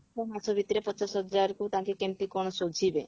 ଛଅ ମାସ ଭିତରେ ପଚାଶ ହଜାରକୁ ତାଙ୍କେ କେମିତି କଣ ସୁଝିବେ